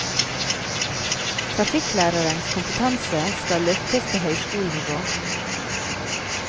Trafikklærernes kompetanse skal løftes til høyskolenivå.